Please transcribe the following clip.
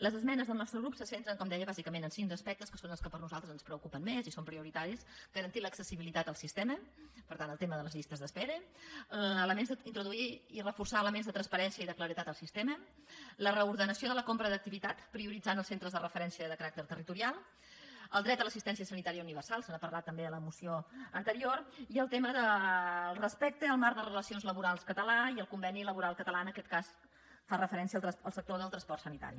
les esmenes del nostre grup se centren com deia bàsicament en cinc aspectes que són els que a nosaltres ens preocupen més i són prioritaris garantir l’accessibilitat al sistema per tant el tema de les llistes d’espera introduir i reforçar elements de transparència i de claredat al sistema la reordenació de la compra d’activitat prioritzant els centres de referència de caràcter territorial el dret a l’assistència sanitària universal se n’ha parlat també a la moció anterior i el tema del respecte al marc de relacions laborals català i al conveni laboral català en aquest cas fa referència al sector del transport sanitari